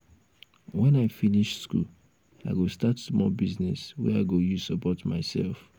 wen i finish school i go start small business wey i go use support mysef.